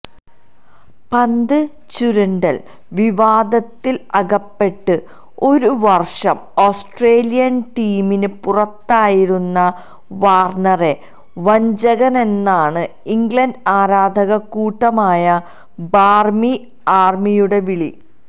പന്ത് ചുരണ്ടല് വിവാദത്തില് അകപ്പെട്ട് ഒരുവര്ഷം ഓസ്ട്രേലിയന് ടീമിന് പുറത്തായിരുന്ന വാര്ണറെ വഞ്ചകനെന്നാണ് ഇംഗ്ലണ്ട് ആരാധകക്കൂട്ടമായ ബാര്മി ആര്മിയുടെ വിളി